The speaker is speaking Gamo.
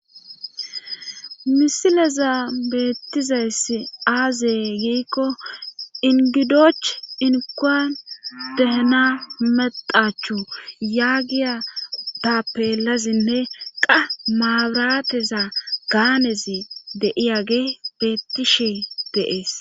misileza beettizayss aazey giikko ingidoch inkuan dehena medachu yaagiya tappeelazinne qa maabirateza gaanezi deiyage beettishe deees